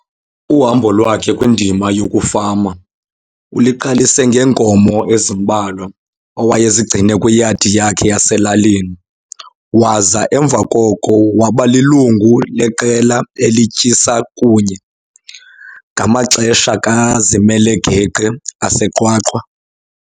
Uhambo lwakhe kwindima yokufama uliqalise ngeenkomo ezimbalwa, awayezigcine kwiyadi yakhe yaselalini, waza emva koko waba lilungu leqela elityisa kunye, ngamaxesha kazimele geqe aseQwaqwa.